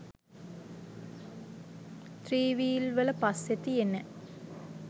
three wheel වල පස්සෙ තියෙන